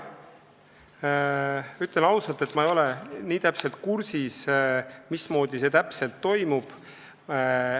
Ütlen ausalt, et ma ei ole nii täpselt kursis, mismoodi see toimub.